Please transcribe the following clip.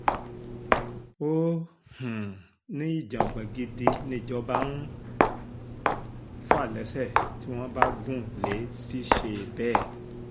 ó um ní ìjàngbọ̀n gidi nìjọba ń um fà lẹ́sẹ̀ tí wọ́n bá gùn lé ṣiṣẹ́ bẹ́ẹ̀